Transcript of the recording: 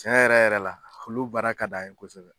Tiɲɛ yɛrɛ yɛrɛ la olu baara ka d'an ye kosɛbɛ.